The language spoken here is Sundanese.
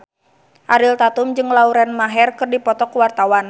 Ariel Tatum jeung Lauren Maher keur dipoto ku wartawan